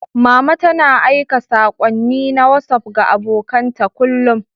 Mama tana aika saƙonni na Wasuf ga abokan ta kullum.